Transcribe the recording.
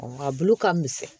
A bulu ka misɛn